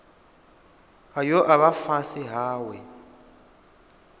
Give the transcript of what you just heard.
ayo a vha fhasi hawe